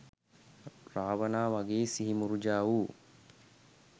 රාවණා වගේ සිහිමුර්ජා වූ